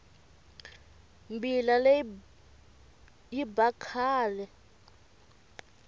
mbila leyi yi ba kahle